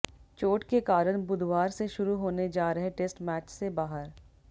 चोट के कारण बुधवार से शुरू होने जा रहे टेस्ट मैच से बाहर